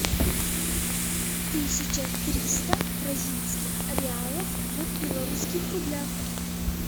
тысяча триста бразильских реалов в белорусских рублях